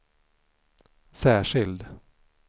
särskild